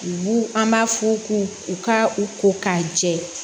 U b'u an b'a f'u k'u u ka u ko k'a jɛ